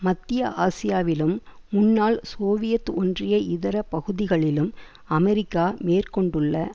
மத்திய ஆசியாவிலும் முன்னாள் சோவியத் ஒன்றிய இதர பகுதிகளிலும் அமெரிக்கா மேற்கொண்டுள்ள